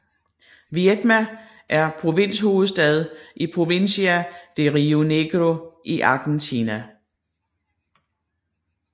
Viedma er provinshovedstad i Provincia de Río Negro i Argentina